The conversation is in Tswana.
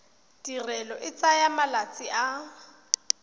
tirelo e tsaya malatsi a